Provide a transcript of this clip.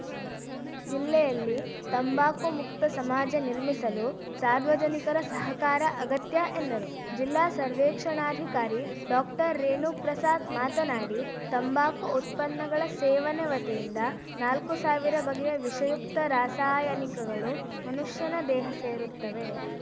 ಜಿಲ್ಲೆಯಲ್ಲಿ ತಂಬಾಕು ಮುಕ್ತ ಸಮಾಜ ನಿರ್ಮಿಸಲು ಸಾರ್ವಜನಿಕರ ಸಹಕಾರ ಅಗತ್ಯ ಎಂದರು ಜಿಲ್ಲಾ ಸರ್ವೇಕ್ಷಣಾಧಿಕಾರಿ ಡಾಕ್ಟರ್ರೇಣುಪ್ರಸಾದ್‌ ಮಾತನಾಡಿ ತಂಬಾಕು ಉತ್ಪನ್ನಗಳ ಸೇವನೆ ವತಿಯಿಂದ ನಾಲ್ಕು ಸಾವಿರ ಬಗೆಯ ವಿಷಯುಕ್ತ ರಾಸಾಯನಿಕಗಳು ಮನುಷ್ಯನ ದೇಹ ಸೇರುತ್ತವೆ